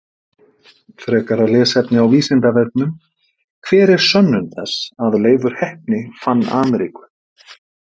Frekara lesefni á Vísindavefnum: Hver er sönnun þess að Leifur heppni fann Ameríku?